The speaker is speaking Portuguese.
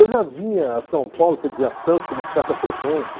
Eu já vinha a São Paulo, quer dizer, a Santos, com uma certa frequência.